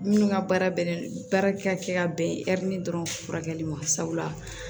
Minnu ka baara bɛnnen don baara ka kɛ ka bɛn dɔrɔn furakɛli ma sabula